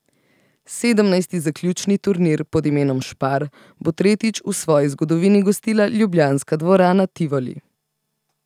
Sedemnajsti zaključni turnir pod imenom Spar bo tretjič v svoji zgodovini gostila ljubljanska dvorana Tivoli.